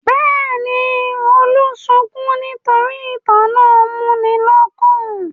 Bẹ́ẹ̀ ni, Olú sunkún nítorí ìtàn náà múni lọ́kàn.